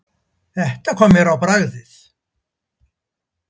Þetta kom mér á bragðið.